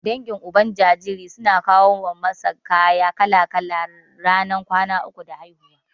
Dangin Uban jinjiri suna kawo masa kaya kala-kala ranar kwana uku da haihuwa.